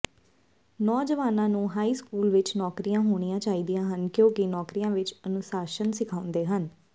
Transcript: ਨੌਜਵਾਨਾਂ ਨੂੰ high school ਵਿਚ ਨੌਕਰੀਆਂ ਹੋਣੀਆਂ ਚਾਹੀਦੀਆਂ ਹਨ ਕਿਉਂਕਿ ਨੌਕਰੀਆਂ ਵਿਚ ਅਨੁਸ਼ਾਸਨ ਸਿਖਾਉਂਦੇ ਹਨ